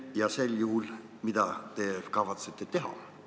Kui näete, siis mida te kavatsete teha?